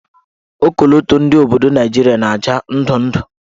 Okoloto ndị obodo Naijiria na-acha ndụndụ.